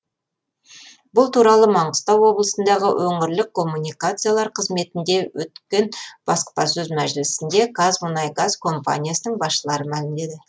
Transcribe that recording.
бұл туралы маңғыстау облысындағы өңірлік коммуникациялар қызметінде өткен баспасөз мәжілісінде қазмұнайгаз компаниясының басшылары мәлімдеді